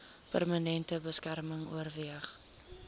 permanente beskerming oorweeg